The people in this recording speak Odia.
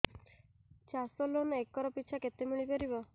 ଚାଷ ଲୋନ୍ ଏକର୍ ପିଛା କେତେ ମିଳି ପାରିବ